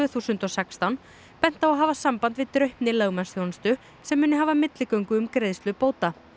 þúsund og sextán bent á að hafa samband við Draupni lögmannsþjónustu sem muni hafa milligöngu um greiðslu bóta